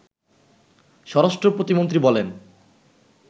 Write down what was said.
স্বরাষ্টপ্রতিমন্ত্রী বলেন